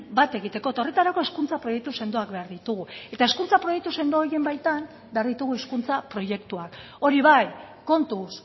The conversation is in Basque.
bat egiteko eta horretarako hezkuntza proiektu sendoak behar ditugu eta hezkuntza proiektu sendo horien baitan behar ditugu hizkuntza proiektuak hori bai kontuz